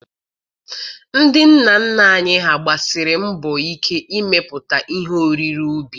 Ndị nna nna anyị ha gbasiri mbọ ike n'imepụta ihe oriri ubi.